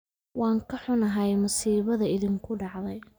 Waan ka xunahay musiibada idhinku dacday